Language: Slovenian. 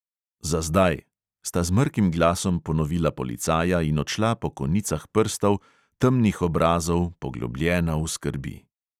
"Zazdaj, " sta z mrkim glasom ponovila policaja in odšla po konicah prstov, temnih obrazov, poglobljena v skrbi.